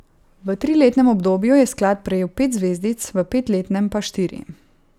V triletnem obdobju je sklad prejel pet zvezdic, v petletnem pa štiri.